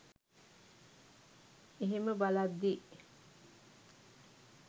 ඒහෙම බලද්දි